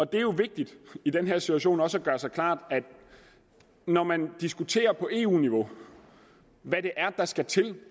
det er jo vigtigt i den her situation også at gøre sig klart at når man diskuterer på eu niveau hvad det er der skal til